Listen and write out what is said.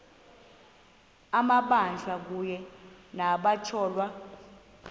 amabanjwa kunye nabatyholwa